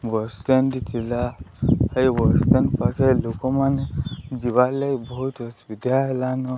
Bus stand ଟି ଥିଲା। ହେଇ ବସ୍ ଷ୍ଟାଣ୍ଡ୍ ପାଖେ ଲୋକମାନେ ଯିବାର୍ ଲାଗି ବୋହୁତୁ ସୁବିଧା ହେଲାନ।